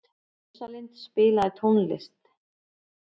Rósalind, spilaðu tónlist.